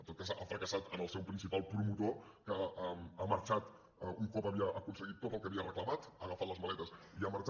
en tot cas ha fracassat en el seu principal promotor que ha marxat un cop havia aconseguit tot el que havia reclamat ha agafat les maletes i ha marxat